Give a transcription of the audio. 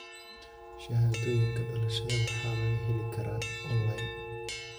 Shahaadooyinka dhalashada waxaa laga heli karaa onlayn.